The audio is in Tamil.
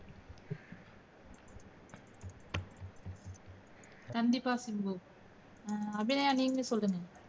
கண்டிப்பா சிம்பு அபிநயா நீங்க சொல்லுங்க